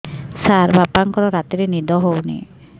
ସାର ବାପାଙ୍କର ରାତିରେ ନିଦ ହଉନି